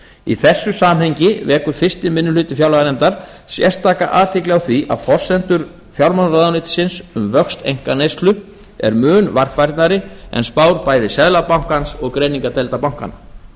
í þessu samhengi vekur fyrsti minni hluti fjárlaganefndar sérstaka athygli á því að forsendur fjármálaráðuneytisins um vöxt einkaneyslu eru mun varfærnari en spár bæði seðlabankans og greiningardeilda bankanna